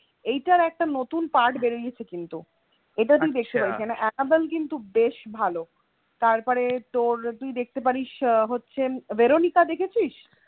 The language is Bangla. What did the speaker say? এইটার একটা নতুন part বেরিয়েছে কিন্তু, এটা তুই দেখতে পারিস কারণ অ্যানাবেল কিন্তু বেশ ভালো তারপরে তোর তুই দেখতে পারিস হচ্ছে ভেরোনিকা দেখেছিস?